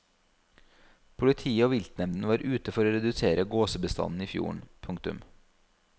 Politiet og viltnemnden var ute for å redusere gåsebestanden i fjorden. punktum